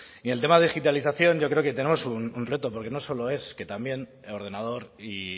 y el tema de digitalización yo creo que tenemos un reto porque no solo es que también el ordenador y